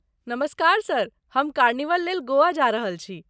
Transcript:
नमस्कार सर, हम कार्निवल लेल गोवा जा रहल छी।